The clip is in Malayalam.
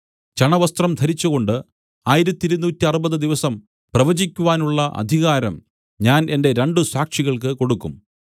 ചണവസ്ത്രം ധരിച്ചുകൊണ്ട് ആയിരത്തിരുനൂറ്ററുപത് ദിവസം പ്രവചിക്കുവാനുള്ള അധികാരം ഞാൻ എന്റെ രണ്ടു സാക്ഷികൾക്കു കൊടുക്കും